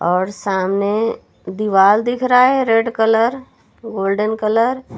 और सामने दीवार दिख रहा है रेड कलर गोल्डेन कलर --